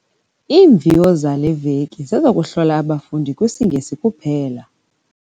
Iimviwo zale veki zezokuhlola abafundi kwisiNgesi kuphela.